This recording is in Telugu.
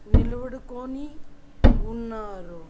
నిలువుడుకోని ఉన్నారు.